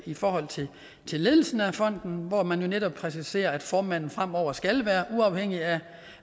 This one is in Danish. i forhold til ledelsen af fonden hvor man jo netop præciserer at formanden fremover skal være uafhængig af